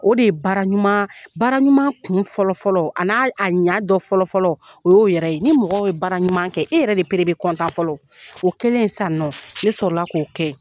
O de ye baara ɲuman bara ɲuman kun fɔlɔfɔlɔ an'a a ɲɛ dɔ fɔlɔfɔlɔ o y'o yɛrɛ ye ni mɔgɔ ye baara ɲuman kɛ e yɛrɛ de pere bɛ fɔlɔ o kɛlen sisan nɔ ne sɔrɔ la k'o